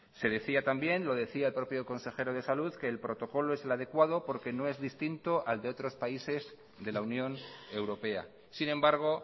se decía también lo decía el propio consejero de salud que el protocolo es el adecuado porque no es distinto al de otros países de la unión europea sin embargo